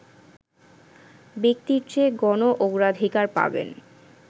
ব্যক্তির চেয়ে গণ অগ্রাধিকার পাবেন